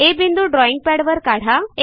आ बिंदू ड्रॉईंग पॅडवर काढा